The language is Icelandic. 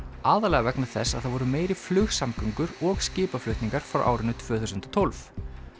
aðallega vegna þess að það voru meiri flugsamgöngur og skipaflutningar frá árinu tvö þúsund og tólf